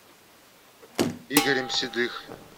игорем седых